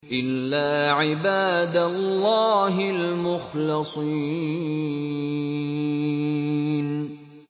إِلَّا عِبَادَ اللَّهِ الْمُخْلَصِينَ